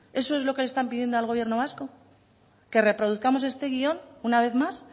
eso es lo que le están pidiendo al gobierno vasco qué reproduzcamos este guión una vez más